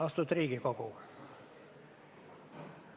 Austatud Riigikogu!